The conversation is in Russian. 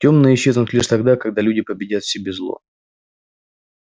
тёмные исчезнут лишь тогда когда люди победят в себе зло